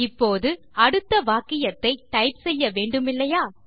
இப்போது அடுத்த வாக்கியத்தை டைப் செய்ய வேண்டுமில்லையா